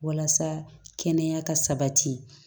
Walasa kɛnɛya ka sabati